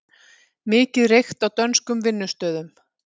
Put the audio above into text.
Mikið reykt á dönskum vinnustöðum